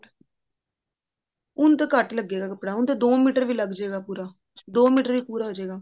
ਉਨੂੰ ਤਾਂ ਘੱਟ ਹੀ ਲੱਗੇਗਾ ਕੱਪੜਾ ਉਨੂੰ ਤਾਂ ਦੋ ਮੀਟਰ ਵੀ ਲੱਗ ਜੇ ਗਾ ਪੂਰਾ ਦੋ ਮੀਟਰ ਵਿੱਚ ਪੂਰਾ ਹੋਜੇਗਾ